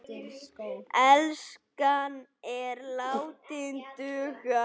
Enskan er látin duga.